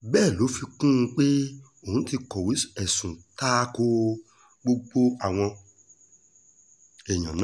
bẹ́ẹ̀ ló fi kún un pé òun ti kọ̀wé ẹ̀sùn ta ko gbogbo àwọn èèyàn náà